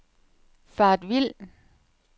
faret vild